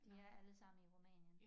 De er alle sammen i Rumænien